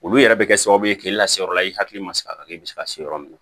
Olu yɛrɛ bɛ kɛ sababu ye k'i lase yɔrɔ la i hakili ma se ka kɛ i bɛ se ka se yɔrɔ min na